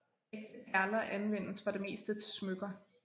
Ægte perler anvendes for det meste til smykker